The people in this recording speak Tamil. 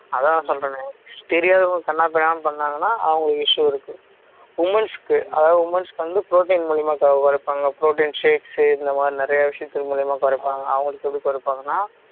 அதான் சொல்றேனே தெரியாதவங்க கன்னாப்பின்னானு பன்னாங்கண்ணா அவங்களுக்கு issue இருக்கு women's க்கு அதாவது women's க்கு வந்து protein மூலமா குறைப்பாங்க protein shake இந்தமாதிரி நிறைய விஷயங்கள் மூலமா குறைப்பாங்க அவங்களுக்கு எப்படி குறைப்பாங்கன்னா